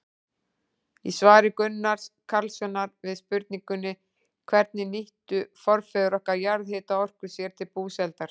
Í svari Gunnars Karlssonar við spurningunni Hvernig nýttu forfeður okkar jarðhitaorku sér til búsældar?